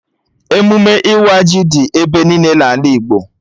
Emụme ịwa ji dị ebe niile n'ala Igbo